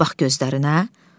Bir bax gözlərinə.